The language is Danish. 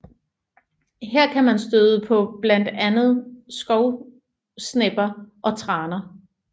Her kan man støde på blandt andet skovsnepper og traner